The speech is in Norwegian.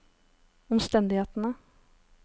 omstendighetene